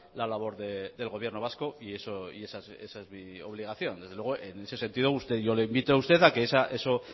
la labor del gobierno vasco y esa es mi obligación desde luego en ese sentido yo le invito a usted a que eso